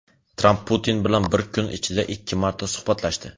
Tramp Putin bilan bir kun ichida ikki marta suhbatlashdi.